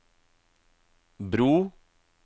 bro